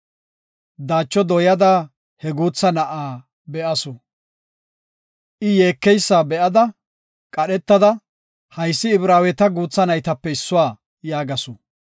Daacho dooyada he guutha na7aa be7asu. I yeekeysa be7ada qadhetada, “Haysi Ibraaweta guutha naytape issuwa” yaagasu.